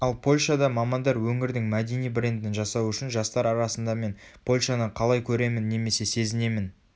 ал польшада мамандар өңірдің мәдени брендін жасау үшін жастар арасында мен польшаны қалай көремін немесе сезінемін